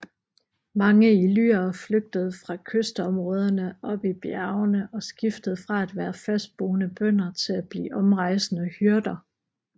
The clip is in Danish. Mange illyrere flygtede fra kystområderne op i bjergene og skiftede fra at være fastboende bønder til at blive omrejsende hyrder